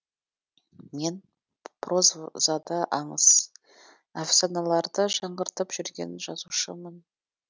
мен прозада аңыз әфсаналарды жаңғыртып жүрген жазушымын